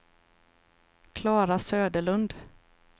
Klara Söderlund